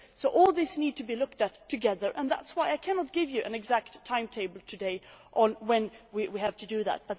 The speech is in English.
All this needs to be looked at together, and that is why I cannot give you an exact timetable today on when we will do that.